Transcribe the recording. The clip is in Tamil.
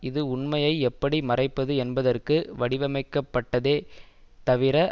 இது உண்மையை எப்படி மறைப்பது என்பதற்கு வடிவமைக்கப்பட்டதே தவிர